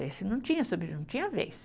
Esse não tinha, não tinha vez.